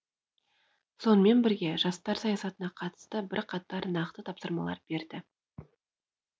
сонымен бірге жастар саясатына қатысты бірқатар нақты тапсырмалар берді